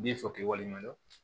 Bin fɔ k'i waleɲuman dɔn